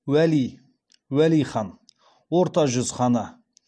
уәли уәли хан орта жүз ханы